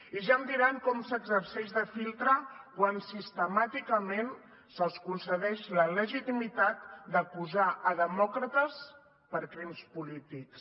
i ja em diran com s’exerceix de filtre quan sistemàticament se’ls concedeix la legitimitat d’acusar demòcrates per crims polítics